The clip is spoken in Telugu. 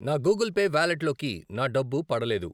నా గూగుల్ పే వాలెట్లోకి నా డబ్బు పడలేదు.